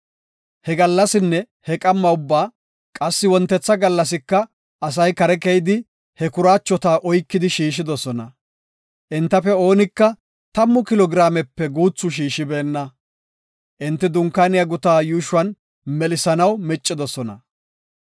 He gallasinne he qamma ubbaa, qassi wontetha gallasika asay kare keyidi, he kuraachota oykidi shiishidosona. Entafe oonika 10 kilo giraamepe guuthu shiishibenna. Enti dunkaaniya guta yuushon melisanaw miccidosona.